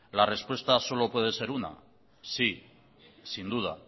la respuesta solo puede ser una sí sin duda